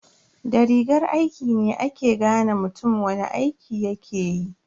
Da rigar aiki ne ake gane mutum wani aiki yakeyi.